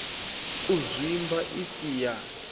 u zwimba i si ya